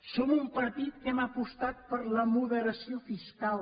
som un partit que hem apostat per la moderació fiscal